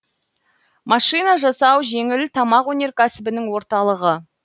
машина жасау жеңіл тамақ өнеркәсібінің орталығы